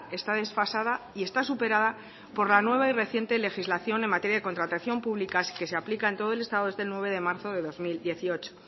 está desfasada y está superada por la nueva y reciente legislación en materia de contratación pública que se aplica en todo el estado desde el nueve de marzo de dos mil dieciocho